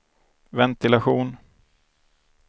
ventilation